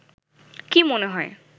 কি মনে হয়